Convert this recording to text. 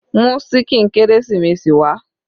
Mú ṣíkìn kérésìmesì wá.